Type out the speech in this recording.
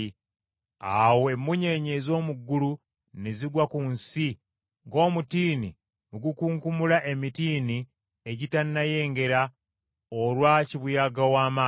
Awo emmunyeenye ez’omu ggulu ne zigwa ku nsi ng’omutiini bwe gukunkumula emitiini egitanayengera olwa kibuyaga ow’amaanyi,